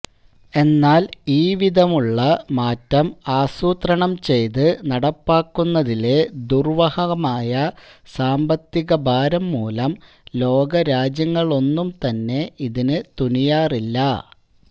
എന്നാൽ ഈവിധമുള്ള മാറ്റം ആസൂത്രണംചെയ്ത് നടപ്പാക്കുന്നതിലെ ദുർവഹമായ സാമ്പത്തികഭാരംമൂലം ലോകരാജ്യങ്ങളൊന്നുംതന്നെ ഇതിനു തുനിയാറില്ല